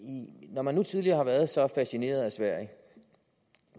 hvor man tidligere har været så fascineret af sverige